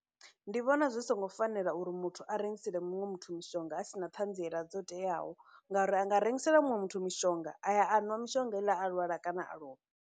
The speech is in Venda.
Ndi vhona zwi songo fanela uri muthu a rengisela muṅwe muthu mishonga a sina ṱhanziela dzo teaho ngauri a nga rengisela muṅwe muthu mishonga aya a nwa mishonga heiḽa a lwala kana a lovha.